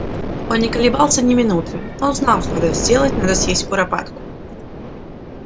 он не колебался ни минуты он знал что надо сделать надо съесть куропатку